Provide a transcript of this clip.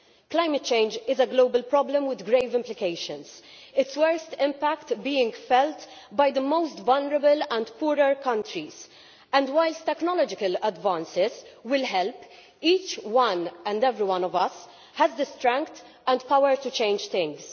Climate change is a global problem with grave implications, its worst impact being felt by the most vulnerable and poorer countries, and whilst technological advances will help, each and every one of us has the strength and power to change things.